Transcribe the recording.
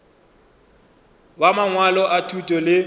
ba mangwalo a thuto le